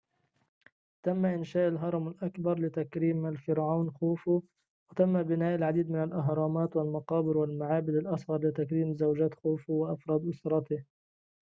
تم إنشاء الهرم الأكبر لتكريم الفرعون خوفو وتم بناء العديد من الأهرامات والمقابر والمعابد الأصغر لتكريم زوجات خوفو وأفراد أسرته